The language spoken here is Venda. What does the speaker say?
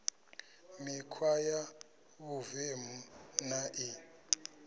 mikhwa ya vhuvemu na i